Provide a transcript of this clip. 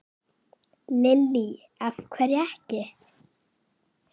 Lillý: Af hverju ekki?